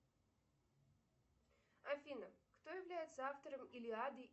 афина кто является автором илиады